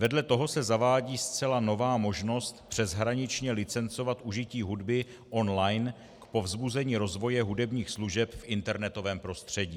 Vedle toho se zavádí zcela nová možnost přeshraničně licencovat užití hudby online k povzbuzení rozvoje hudebních služeb v internetovém prostředí.